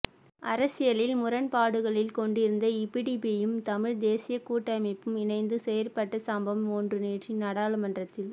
அரசியலில் முரண்பாடுகளை கொண்டிருந்த ஈபிடிபியும் தமிழ்த் தேசியக் கூட்டமைப்பும் இணைந்து செயற்பட்ட சம்பவம் ஒன்று நேற்று நாடாளுமன்றத்தில்